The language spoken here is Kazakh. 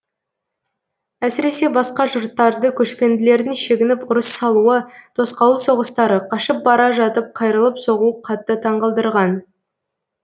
әсіресе басқа жұрттарды көшпенділердің шегініп ұрыс салуы тосқауыл соғыстары қашып бара жатып қайырылып соғуы қатты таңқалдырған